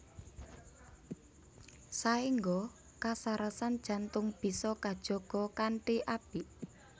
Saéngga kasarasan jantung bisa kajaga kanthi apik